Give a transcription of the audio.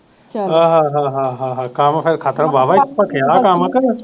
ਆਹ ਹਾ ਹਾ ਹਾ ਹਾ ਹਾ ਕੰਮ ਫੇਰ ਖਤਮ ਵਾਹਵਾ ਹੀ ਭਖਿਆ ਉਹ ਕੰਮ ਕੁ